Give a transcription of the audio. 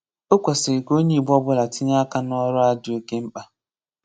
Ọ̀ kwesìrị̀ ka onye Ìgbò ọ̀bụ̀la tinye aka n’ọ̀rụ̀ a dị́ ọ̀ké mkpa.